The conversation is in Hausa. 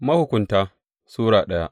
Mahukunta Sura daya